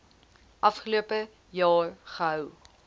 afgelope jaar gehou